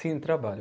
Sim, trabalho.